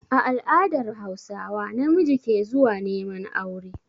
A all'adar hausawa, namiji ke zuwa neman aure